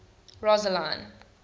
rosseline